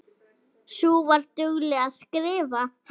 Sú var dugleg að skrifa.